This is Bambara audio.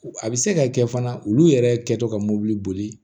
A bɛ se ka kɛ fana olu yɛrɛ kɛtɔ ka mobili boli